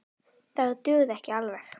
Það dugði ekki alveg.